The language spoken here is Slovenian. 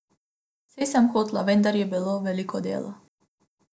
Saj sem hotela, vendar je bilo veliko dela.